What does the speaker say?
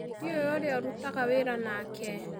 Ndiũĩ ũrĩa ũrutaga wĩra nake.